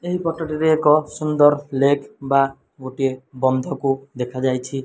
ଏହି ଫଟୋ ଟି ରେ ଏକ ସୁନ୍ଦର ଲେଗ ବା ଗୋଟିଏ ବନ୍ଧ କୁ ଦେଖା ଯାଇଚି।